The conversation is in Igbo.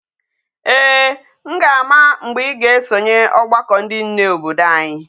Ee, m ga-ama mgbe i ga-esonye ogbako ndi nne obodo anyi.